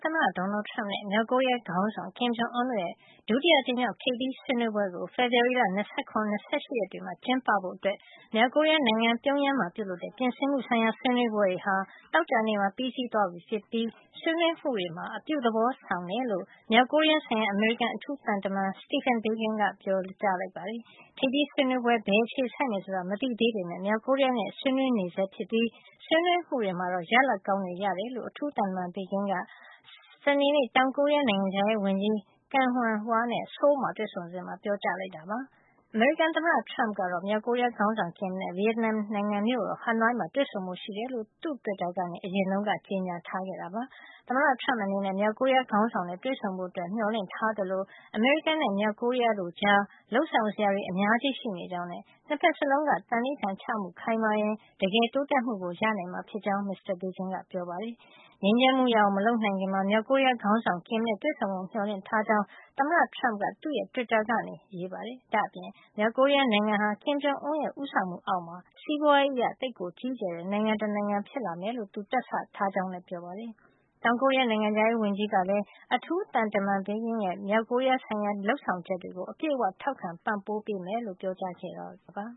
သမ္မတ Donald Trump နဲ့ မြောက်ကိုရီးယား ခေါင်းဆောင် Kim Jong Un တို့ရဲ့ ဒုတိယ အကြိမ် မြောက် ထိပ်သီးဆွေးနွေးပွဲကို ဖေဖေါ်ဝါရီလ ၂၇ နဲ့၂၈ ရက်တွေမှာ ကျင်းပဖို့ မြောက်ကိုရီးယားနိုင်ငံ ပြုံယမ်းမှာ ပြုလုပ်တဲ့ ပြင်ဆင်မှုဆိုင်ရာဆွေးနွေးပွဲတွေ ဟာ သောကြာနေ့မှာ ပြီးသွားပြီဖြစ်ပြီး ဆွေးနွေးမှုတွေမှာ အပြု သဘောဆောင်ကြောင်း မြောက်ကိုရီးယားဆိုင်ရာ အမေရိကန် အထူးသံတမန် Stephen Biegun က ပြောပါတယ်။ ထိပ်သီးဆွေးနွေးပွဲဟာ ဘယ်အခြေဆိုက်မယ်ဆိုတာ မသိသေးပေးမယ့် မြောက်ကိုရီးယား နဲ့ ဆွေးနွေးနေဆဲ ဖြစ်ပြီး ဆွေးနွေးမှုတွေမှာ ရလဒ်ကောင်းတွေ ရကြောင်း အထူးသံတမန် Biegun က စနေနေ့ တောင်ကိုရီးယား နိုင်ငံခြားရေးဝန်ကြီး Kang Hyung-wha နဲ့ ဆိုးလ် မှာ တွေ့ဆုံစဉ် ပြောကြားလိုက်တာပါ။ အမေရိကန် သမ္မတ Trump က မြောက်ကိုရီးယားခေါင်းဆောင် Kim နဲ့ ဗီယက်နမ် နိုင်ငံမြို့တော် ဟနွိုင်းမှာ တွေ့ဆုံဖို့ရှိကြောင်း သူ့တွစ်တာကနေ အရင်က ကြေညာခဲ့တာ ဖြစ်ပါတယ်။ သမ္မတ Trump အနေနဲ့ မြောက်ကိုရီးယားခေါင်းဆောင်နဲ့ တွေ့ဆုံဖို့ မျှော်လင့်ထားသလို အမေရိကန်နဲ့ မြောက်ကိုရီးယားတို့ကြား လုပ်ဆောင်စရာတွေ အများကြီးရှိနေကြောင်းနဲ့ ၂ ဖက်စလုံးက သံန္နိဌာန်ချမှု ခိုင်မာရင် တကယ်တိုးတက်မှုရနိုင်မှာ ဖြစ်ကြောင်းလည်း မစ္စတာ Biegun ကပြောပါတယ်။ ငြိမ်းချမ်းမှုရအောင် မလုပ်နိုင်ခင် မြောက်ကိုရီးယား ခေါင်းဆောင် Kim နဲ့ တွေ့ဆုံဖို့ မျှော်လင့်ကြောင်း သမ္မတ Trump က သူ့တွစ်တာကနေ ရေးပါတယ်။ ဒါ့အပြင် မြောက် ကိုရီးယား နိုင်ငံဟာ Kim Jong Un ရဲ့ ဦးဆောင်မှု အောက်မှု စီးပွါးရေးအရ ကြီးကျယ်တဲ့ နိုင်ငံတနိုင်ငံ ဖြစ်လာ မယ်လို့ သူတွက်ဆ ထားကြောင်းလည်း ပြောပါတယ်။ တောင်ကိုရီးယား နိုင်ငံခြားရေးဝန်ကြီးကလည်း အထူးသံတမန် Biegun ရဲ့ မြောက်ကိုရီးယားဆိုင်ရာ လုပ်ဆောင်ချက်တွေကို အပြည့်အဝ ထောက်ခံပံ့ပိုးမှာ ဖြစ်ကြောင်း ပြောကြားခဲ့ပါ